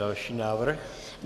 Další návrh.